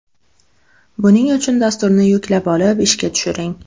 Buning uchun dasturni yuklab olib, ishga tushiring.